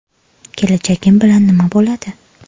Kelajagim bilan nima bo‘ladi?